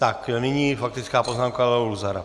Tak nyní faktická poznámka Leo Luzara.